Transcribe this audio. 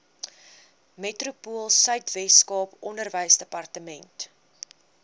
metropoolsuid weskaap onderwysdepartement